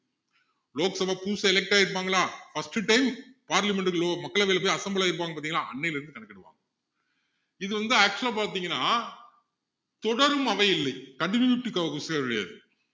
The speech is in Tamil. லோக் சபா புதுசா elect ஆகியிருப்பாங்களா first time parliament குலயோ மக்களவையில போய் assemble ஆகியிருப்பாங்க பாத்தீங்களா அன்னையில இருந்து கணக்கிடுவாங்க இதுல வந்து actual ஆ பாத்திங்கன்னா தொடரும் அவை இல்லை